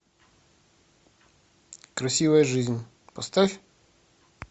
красивая жизнь поставь